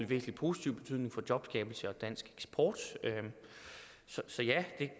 væsentlig positiv betydning for jobskabelse og dansk eksport så ja det